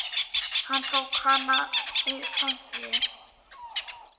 Hann tók hana í fangið.